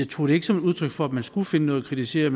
tog det ikke som et udtryk for at man skulle finde noget at kritisere